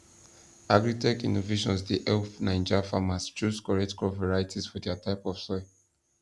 agritech innovations dey help naija farmers choose correct crop varieties for dia type of soil